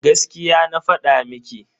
Gaskiya na fada miki.